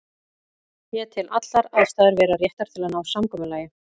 Ég tel allar aðstæður vera réttar til að ná samkomulagi.